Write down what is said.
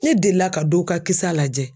Ne delila ka dɔ ka kisa lajɛ.